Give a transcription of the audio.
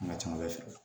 An ka ca ala fɛ